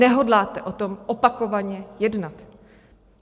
Nehodláte o tom opakovaně jednat.